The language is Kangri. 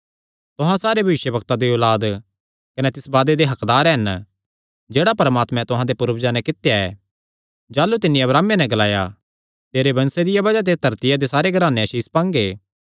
तुहां सारे भविष्यवक्तां दी औलाद कने तिस वादे दे हक्कदार हन जेह्ड़ा परमात्मैं तुहां दे पूर्वजां नैं कित्या ऐ जाह़लू तिन्नी अब्राहमे नैं ग्लाया तेरे वंशे दिया बज़ाह ते धरतिया दे सारे घराने आसीष पांगे